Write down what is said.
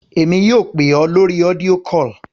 Èmi yóò pè ọ́ lórí audio call.